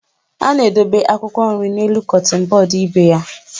A na-edobe akwụkwọ nri n'elu kọtịn bọọdụ ebe ya.